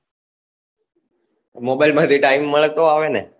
mobile માંથી time મળે તો આવે ને